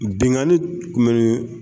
Binnkanni tun bɛ